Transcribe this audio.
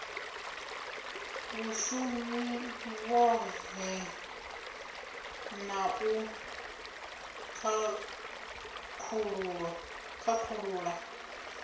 vhshumi vhohe na u khakhulula